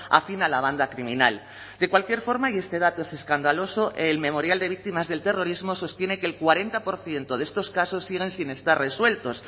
afín a la banda criminal de cualquier forma y este dato es escandaloso el memorial de víctimas del terrorismo sostiene que el cuarenta por ciento de estos casos siguen sin estar resueltos